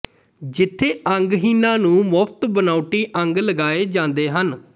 ਜਿਥੇ ਅੰਗਹੀਣਾਂ ਨੂੰ ਮੁਫ਼ਤ ਬਨਾਉਟੀ ਅੰਗ ਲਗਾਏ ਜਾਂਦੇ ਹਨ